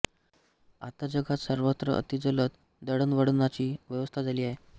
आता जगात सर्वत्र अतिजलद दळणवळणाची व्यवस्था झाली आहे